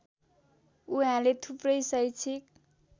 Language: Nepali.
उहाँले थुप्रै शैक्षिक